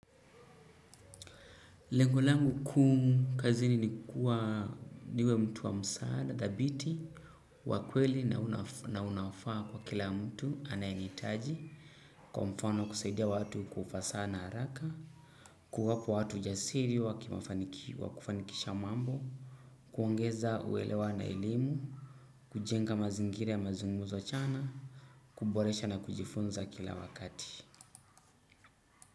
Lengo langu kuu kazini ni kuwa niwe mtu wa msaada, dhabiti, wa kweli na unafaa kwa kila mtu anayehitaji kwa mfano kusaidia watu kwa ufasaha na haraka, kuwapa watu ujasiri wa kufanikisha mambo, kuongeza uelewa na elimu, kujenga mazingira ya mazungumzo chanya, kuboresha na kujifunza kila wakati.